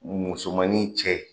Musomannin cɛ